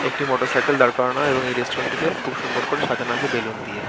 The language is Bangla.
একটি মোটর সাইকেল দাড়করানো হয়। এবং এই রেস্টুরেন্ট -টিকে খুব সুন্দর করে সাজানো আছে বেলুন দিয়ে।